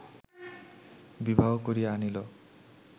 বিবাহ করিয়া আনিল